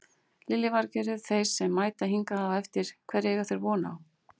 Lillý Valgerður: Þeir sem mæta hingað á eftir hverju eiga þeir von á?